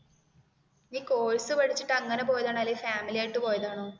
course പഠിച്ചിട്ട് അങ്ങനെ പോയത് ആണോ അല്ലേൽ ഫാമിലി ആയിട്ട് പോയതാണോ